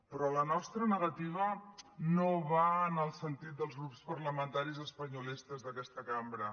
però la nostra negativa no va en el sentit dels grups parlamentaris espanyolistes d’aquesta cambra